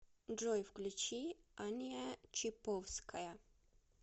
джой включи аня чиповская